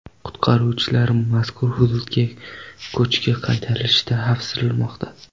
Qutqaruvchilar mazkur hududda ko‘chki qaytarilishidan xavfsiramoqda.